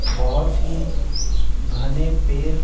बहुत ही घने पैर --